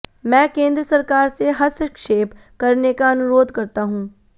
मैं केंद्र सरकार से हस्तक्षेप करने का अनुरोध करता हूं